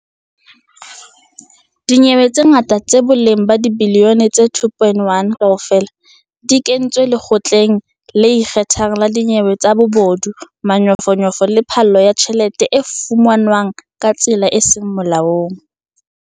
Dinyewe tse 45, tsa boleng ba dibiliyone tse R2.1 kaofela, di kentswe Lekgotleng le Ikgethang la Dinyewe tsa Bobodu, Manyofonyofo le Phallo ya Tjhelete e fumanweng ka tsela e seng Molaong.